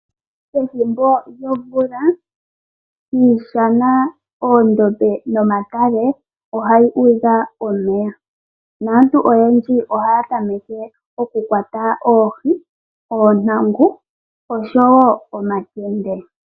Ethimbo lyomvula iishana, oondombe nomadhiya ohaga udha omeya . Aantu oyendji ohaya tameke oku kwata oohi, oontangu, nosho woo omankende.